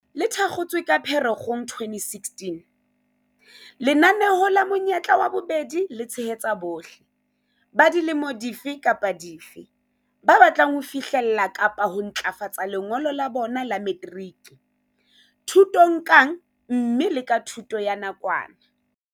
Le thakgotswe ka Phere-kgong 2016, lenaneo la Monyetla wa Bobedi le tshehetsa bohle - ba dilemo dife kapa dife - ba batlang ho fihlella kapa ho ntlafatsa lengolo la bona la materiki, thutong kang mme le ka thuto ya nakwana.